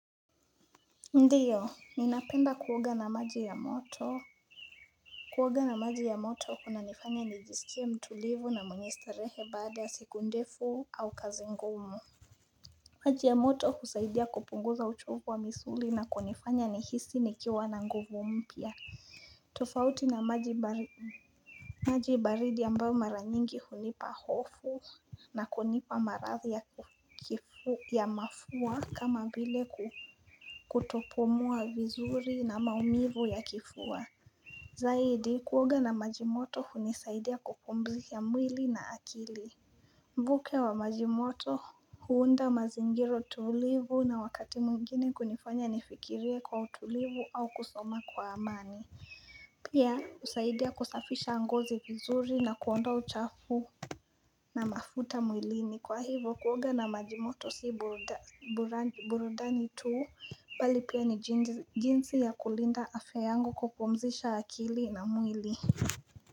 Ndiyo, ninapenda kuwoga na maji ya moto Kuwoga na maji ya moto huna nifanya nijisikia mtulivu na mwenye starehe baada ya siku ndefu au kazi ngumu maji ya moto husaidia kupunguza uchovu wa misuli na kunifanya nihisi nikiawa na nguvu mpya tofauti na majibaridi ambao maranyingi hunipa hofu na kunipa marathi ya mafuwa kama vile kutopomua vizuri na maumivu ya kifua Zaidi kuoga na majimoto hunisaidia kupumzika mwili na akili Vuke wa majimoto huunda mazingiro tulivu na wakati mungine kunifanya nifikilie kwa utulivu au kusoma kwa amani Pia husaidia kusafisha ngozi vizuri na kuonda uchafu na mafuta mwilini kwa hivo kuoga na majimoto si burudani tu pali pia ni jinsi ya kulinda afya yangu kupumzisha akili na mwili.